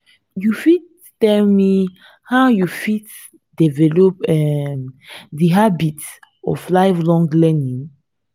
you fit tell me how you fit develop um di habit of lifelong learning?